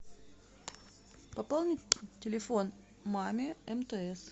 пополнить телефон маме мтс